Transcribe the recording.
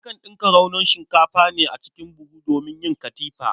Akan ɗinka raunon shikafa a ne cikin buhu domin yin katifa.